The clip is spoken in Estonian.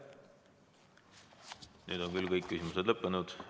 Nüüd on küsimused lõppenud.